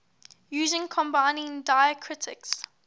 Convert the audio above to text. using combining diacritics